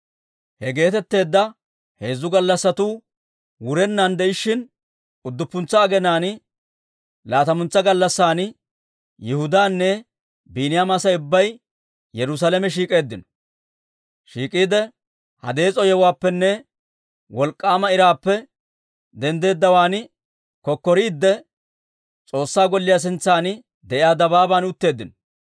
He geetetteedda heezzu gallassatuu wurennan de'ishshin, udduppuntsa aginaan laatamantsa gallassan Yihudaanne Biiniyaama Asay ubbay Yerusaalame shiik'iide, ha dees'o yewuwaappenne wolk'k'aama iraappe denddeddawaan kokkoriidde, S'oossaa Golliyaa sintsan de'iyaa dabaaban utteeddino.